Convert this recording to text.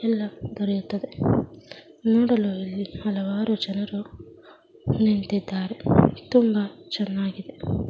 ಎಲ್ಲಾ ದೊರೆಯುತ್ತದೆ ನೋಡಲು ಅಲ್ಲಿ ಹಲವಾರು ಜನರು ನಿಂತಿದ್ದಾರೆ ತುಂಬಾ ಚೆನ್ನಾಗಿದೆ.